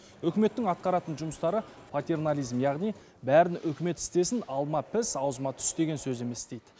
үкіметтің атқаратын жұмыстары патернализм яғни бәрін үкімет істесін алма піс аузыма түс деген сөз емес дейді